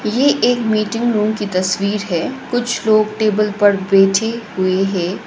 ये एक meeting room की तस्वीर है कुछ लोग टेबल पर बैठे हुए है।